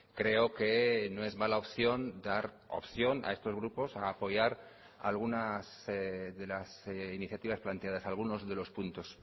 creo que no es mala opción dar opción a estos grupos a apoyar algunas de las iniciativas planteadas algunos de los puntos